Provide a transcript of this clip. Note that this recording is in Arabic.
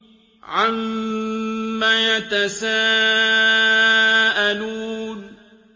عَمَّ يَتَسَاءَلُونَ